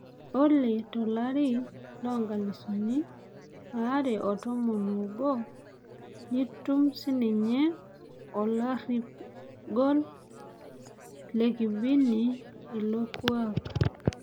Ore tolari lonkalifuni are otomon obo nitum sininye olorip gol lekibini ilo kuak.